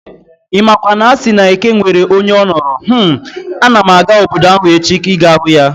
Imakwa na asị na eke nwere onye onoro, hmmm! Ana m aga obodo ahụ echi ịga hụ ya